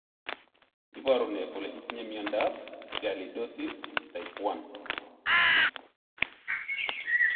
Iporu ne kole itinye miondap Sialidosis type I?